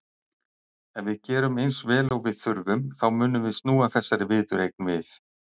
Ef við gerum eins vel og við þurfum þá munum við snúa þessari viðureign við.